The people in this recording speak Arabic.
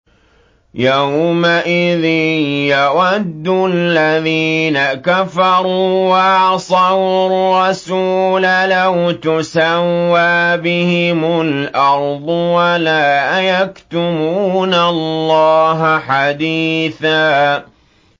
يَوْمَئِذٍ يَوَدُّ الَّذِينَ كَفَرُوا وَعَصَوُا الرَّسُولَ لَوْ تُسَوَّىٰ بِهِمُ الْأَرْضُ وَلَا يَكْتُمُونَ اللَّهَ حَدِيثًا